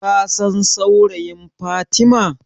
Kasan saurayin Fatima?